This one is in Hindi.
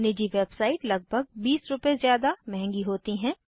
निजी वेबसाइट लगभग 20 रुपए ज़्यादा महँगी होती हैं